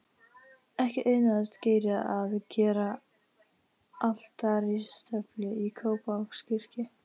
Ekki auðnaðist Gerði að gera altaristöflu í Kópavogskirkju.